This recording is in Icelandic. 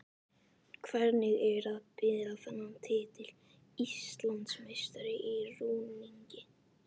Hvernig er að bera þennan titil: Íslandsmeistari í rúningi?